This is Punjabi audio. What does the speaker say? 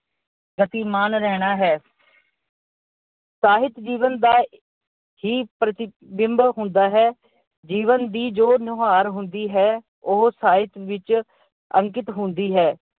ਗਤੀਮਾਨ ਰਹਿਣਾ ਹੈ। ਸਾਹਿਤ ਜੀਵਨ ਦਾ ਹੀ ਪ੍ਰਤੀਬਿੰਬ ਹੁੰਦਾ ਹੈ। ਜੀਵਨ ਦੀ ਜੋ ਨੁਹਾਰ ਹੁੰਦੀ ਹੈ, ਉਹ ਸਾਹਿਤ ਵਿੱਚ ਅੰਕਿਤ ਹੁੰਦੀ ਹੈ।